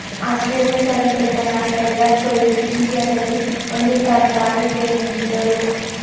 Australia ಸರಣಿ ಬಳಿಕ ನಾಯಕ ವಿರಾಟ್ ಕೊಹ್ಲಿ ಟೀಂ ಇಂಡಿಯಾದಲ್ಲಿ ಒಂದು ಸ್ಥಾನ ಖಾಲಿ ಇದೆ ಎಂದಿದ್ದರು